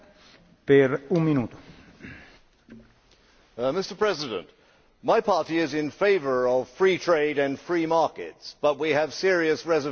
Mr President, my party is in favour of free trade and free markets, but we have serious reservations about the digital single market.